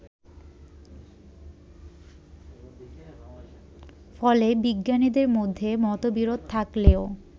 ফলে বিজ্ঞানীদের মধ্যে মতবিরোধ থাকলেও